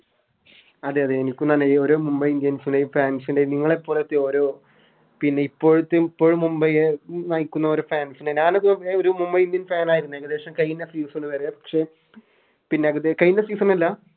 അതെ അതെ എനിക്കും അതെന്നെ ഓരോ Mumbai indians ലെ Fans നെ നിങ്ങളെ പോലത്തെ ഓരോ പിന്നെ ഇപ്പോഴത്തെ ഇപ്പൊ മുംബൈയെ നയിക്കുന്ന ഓരോ Fans നെ ഞാനോ ഒരു Mumbai indians fan ആയിരുന്നു ഏകദേശം കയിഞ്ഞ Season വരെ പക്ഷെ പിന്നെ അതിലെ പിന്ന അതില് കയിഞ്ഞ Season അല്ല